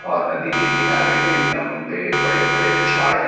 और नदी के किनारे ये लंबे बड़े बड़े झाड़ हैं।